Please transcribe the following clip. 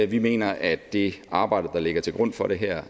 vi mener at det arbejde der ligger til grund for det her er